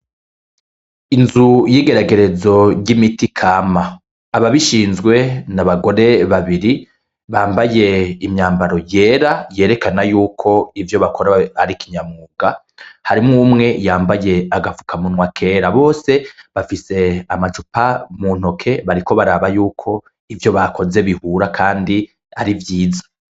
Inzu y'igeragerezo y'imiti kama. Ababishizwe ni abagore babiri bambaye imyambaro yera yerekana yuko ivyo bakora ari kinyamwuga. Harimwo umwe yambaye agapfukamunwa kera, bose bafise amacupa muntoke bariko baraba y'uko ivyo bakoze bihura kandi ari vyiza.